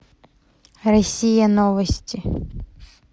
россия новости